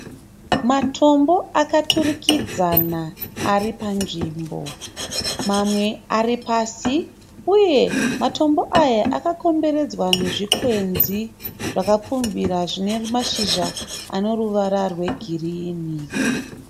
Matombo akaturikidzana aripanzvimbo. Mamwe aripasi, uye matombo aya akakomberedzwa nezvikwenzi zvakapfumvira zvinemashizha zvineruvara rwegirinhi.